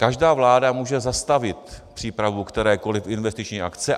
Každá vláda může zastavit přípravu kterékoli investiční akce.